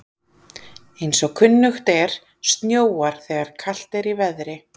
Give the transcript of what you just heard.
Eins og kunnugt er snjóar þegar kalt er í veðri.